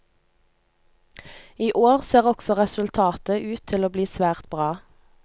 I år ser også resultatet ut til å bli svært bra.